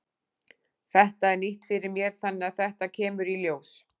Þetta er nýtt fyrir mér þannig að þetta kemur í ljós.